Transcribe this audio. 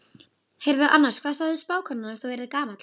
Heyrðu annars, hvað sagði spákonan að þú yrðir gamall?